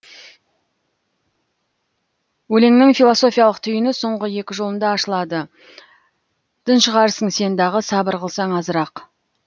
өлеңнің философиялық түйіні соңғы екі жолында ашылады тыншығарсың сен дағы сабыр қылсаң азырақ